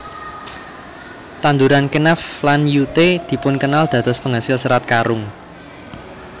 Tanduran Kenaf lan Yute dipun kenal dados penghasil Serat Karung